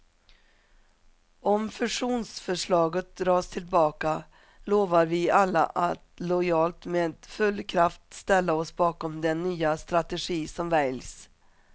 Om fusionsförslaget dras tillbaka lovar vi alla att lojalt med full kraft ställa oss bakom den nya strategi som väljs.